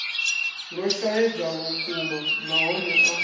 lwo shaedza vhukuma nahone a